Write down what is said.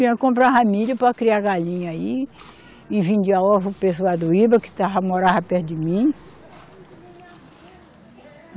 Comprava milho para criar galinha e vendia ovo para o pessoal do Iba, que morava perto de mim.